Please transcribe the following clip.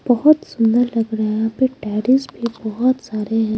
बहुत सुंदर लग रहा यहां पे टेरेस भी बहुत सारे हैं।